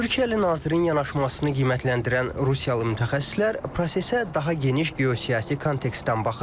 Türkiyəli nazirin yanaşmasını qiymətləndirən Rusiyalı mütəxəssislər prosesə daha geniş geosiyasi kontekstdən baxır.